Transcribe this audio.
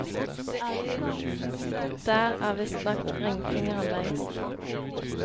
Der er visstnok ringfingeren lengst.